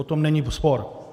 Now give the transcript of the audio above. O tom není spor.